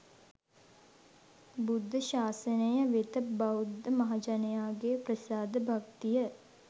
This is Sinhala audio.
බුද්ධ ශාසනය වෙත බෞද්ධ මහජනයාගේ ප්‍රසාද භක්තිය